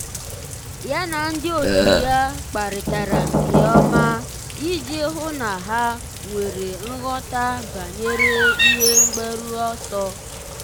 yá na ndị otu ya kparịtara nke ọma iji hụ́ na há nwere nghọta banyere ihe mgbaru ọsọ.